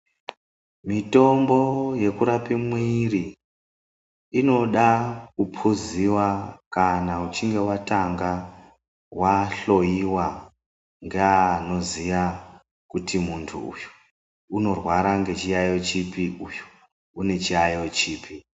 Mitombo yekurape mwiri inoda kuphuziwa kana uchinge watanga wahloiwa ngeanoziya kuti muntu uyu unorware ngechiyaiyo chipi, uyu une chiyaiyo chipi.